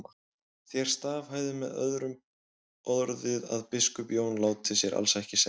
Þér staðhæfið með öðrum orðum að biskup Jón láti sér alls ekki segjast.